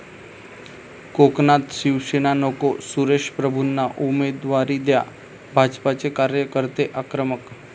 कोकणात शिवसेना नको, सुरेश प्रभूंना उमेदवारी द्या', भाजपचे कार्यकर्ते आक्रमक